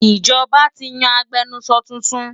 Ìjọba ti yan agbẹnusọ tuntun